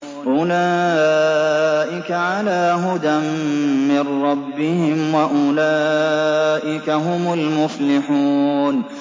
أُولَٰئِكَ عَلَىٰ هُدًى مِّن رَّبِّهِمْ ۖ وَأُولَٰئِكَ هُمُ الْمُفْلِحُونَ